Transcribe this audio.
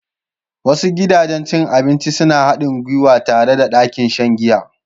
Wasu gidajen cin abinci suna haɗin gwiwa tare da ɗakin shan giya.